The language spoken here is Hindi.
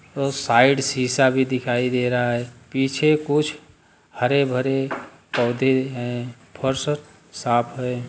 और साइड शीशा भी दिखाई दे रहा है पीछे कुछ हरे-भरे पौधे हैं फर्सत साफ़ है।